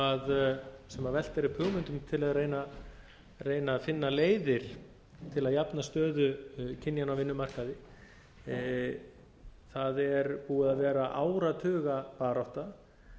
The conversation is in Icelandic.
velt er upp hugmyndum til að reyna að finna leiðir til að jafna stöðu kynjanna á vinnumarkaði það er búin að vera áratugabarátta